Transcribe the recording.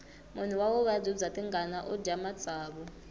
munhu wa vuvabyi bya tingana udya matsavu